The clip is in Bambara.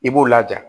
I b'u laja